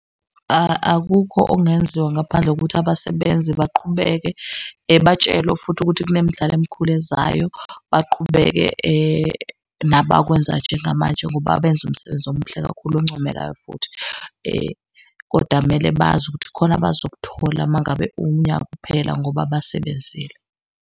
Akukho okungenziwa ngaphandle kokuthi abasebenzi baqhubeke batshelwe futhi ukuthi kunemidlalo emikhulu ezayo. Baqhubeke nabakwenza njengamanje ngoba benze umsebenzi omuhle kakhulu oncomekayo futhi. Kodwa kumele bazi ukuthi kukhona abazokuthola umangabe unyaka uphela, ngoba basebenzile.